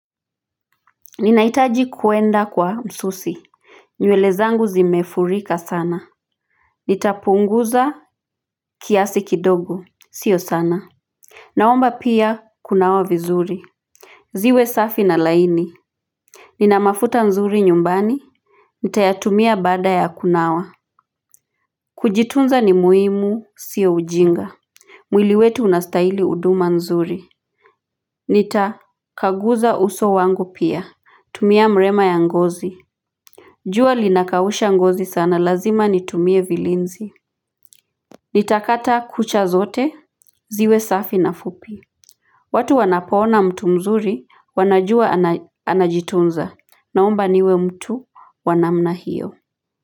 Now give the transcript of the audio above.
Ninaitaji kuenda kwa msusi nywele zangu zimefurika sana Nitapunguza kiasi kidogo sio sana Naomba pia kunawa vizuri ziwe safi na laini Ninamafuta nzuri nyumbani Nitayatumia baada ya kunawa Kujitunza ni muhimu sio ujinga mwili wetu unastaili uduma nzuri Nitakaguza uso wangu pia tumia mrema ya ngozi jua linakausha ngozi sana lazima nitumie vilinzi Nitakata kucha zote, ziwe safi na fupi watu wanapoona mtu mzuri, wanajua anajitunza, naomba niwe mtu wanamna hiyo.